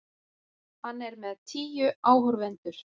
Hann er með tíu áhorfendur.